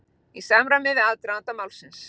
Í samræmi við aðdraganda málsins